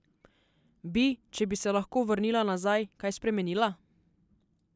Bi, če bi se lahko vrnila nazaj, kaj spremenila?